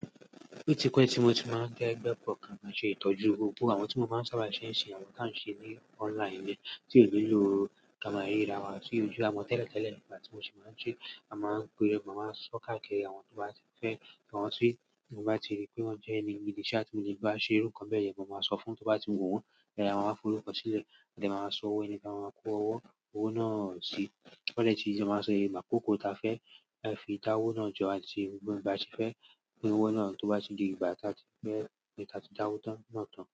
O ti pe tí mo ti máa ń kegbé pọ̀ gán máa ṣe ìtọ́jú gbogbo wkawó. Àwọn tí mo máa ń sábà ṣe ń ṣe àwọn kan ṣe ní online ni tí ò nílò ká máa rira wa sí ojú àmọ tẹ́lẹ̀ tẹ́lẹ̀ nígbà tí mo ṣi máa ń ṣe, a máa ń pe, ekan màá sọ káàkiri àwọn tó bá ti fẹ́, kí wọ́n sì, mo bá ti rí pé wọ́n jẹ́ ẹni mi ní ṣẹ́ tí mo lè bá ṣe irú kan bẹ́ẹ̀ díẹ̀, mo máa sọ fún tó bá ti wù wọ́n, bẹ́ẹ̀ àwa máa fò lọ́kọ sílẹ̀, lẹ́ẹ́tí màá sọ owó ẹni tí a máa pa owó, owó náà sí. Kọ́ ní etí, ìjọ máa ṣe ìgbà kòkò ta fẹ́, a fi dá owó náà jọ, àti gbogbo ẹni bá ti fẹ́ gbin owó náà tó bá ti di ìgbà tí a ti fẹ́ kí a ti dá owó tán náà tán.